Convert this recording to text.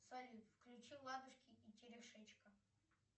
салют включи ладушки и телешечка